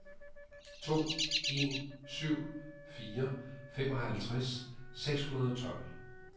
to en syv fire femoghalvtreds seks hundrede og tolv